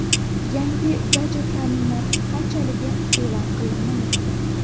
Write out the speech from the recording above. Yangi gadjetning narxi qanchaligi e’lon qilinmayapti.